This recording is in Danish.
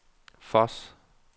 Voss